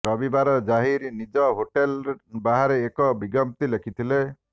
ରବିବାର ଜାହିର ନିଜ ହୋଟେଲ ବାହାରେ ଏକ ବିଜ୍ଞପ୍ତି ଲେଖିଥିଲେ